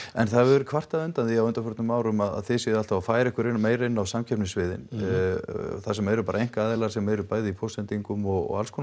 en það hefur verið kvartað undan því á undanförnum árum að þið séuð alltaf að færa ykkur meira inn á samkeppnissviðun þar sem eru bara einkaaðilar sem eru bæði í póstsendingum og